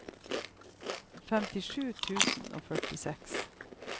femtisju tusen og førtiseks